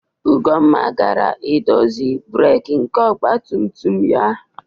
Ugonna gara idozi breeki nke ọgba tum tum ya.